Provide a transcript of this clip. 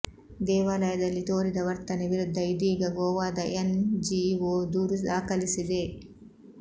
ದೇವಾಲಯದಲ್ಲಿ ತೋರಿದ ವರ್ತನೆ ವಿರುದ್ಧ ಇದೀಗ ಗೋವಾದ ಎನ್ ಜಿಒ ದೂರು ದಾಖಲಿಸಿದೆ